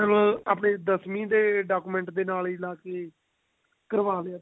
ਫ਼ਰ ਆਨੇ ਦਸਵੀਂ ਦੇ document ਦੇ ਨਾਲ ਲਾ ਕੇ ਹੀ ਕਰਵਾ ਲਿਆ